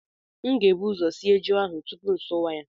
M ga-ebu ụzọ sie ji ahụ tupu m asụwa ya